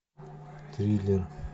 триллер